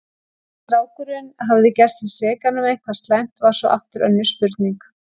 Hvort strákurinn hafði gert sig sekan um eitthvað slæmt var svo aftur önnur spurning.